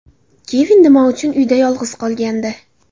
Kevin nima uchun uyda yolg‘iz qolgandi?